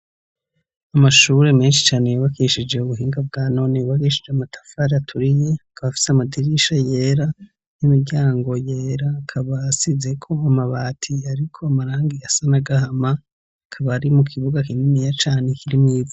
Amashure menshi cane, yebakishije ubuhinga bwa none, bakeshije amatafari aturiye akaba afise amadirisha yera, n'imiryango yera, akaba asize ko amabati ariko amarangi asana gahama, kaba ari mu kibuga kininiya cane kirimwivu